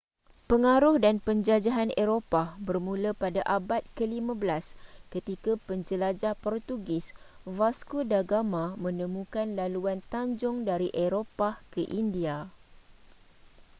pengaruh dan penjajahan eropah bermula pada abad ke-15 ketika penjelajah portugis vasco da gama menemukan laluan tanjung dari eropah ke india